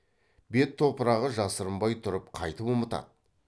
бет топырағы жасырынбай тұрып қайтып ұмытады